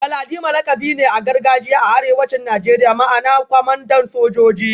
Galadima lakabi ne na gargajiya a arewacin Najeriya ma'ana kwamandan sojoji